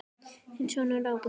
Þinn sonur Ágúst Þór.